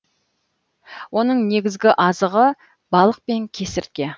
оның негізгі азығы балық пен кесіртке